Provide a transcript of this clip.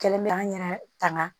Kɛlen bɛ an yɛrɛ tanga